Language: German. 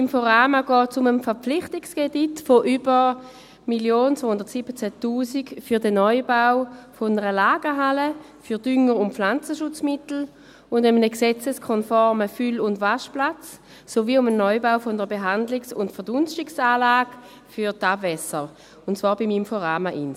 Inforama geht es um einen Verpflichtungskredit von 1,217 Mio. Franken für den Neubau einer Lagerhalle für Dünger- und Pflanzenschutzmittel, für einen gesetzeskonformen Füll- und Waschplatz sowie für den Neubau einer Behandlungs- und Verdunstungsanlage für die Abwässer, und zwar beim Inforama Ins.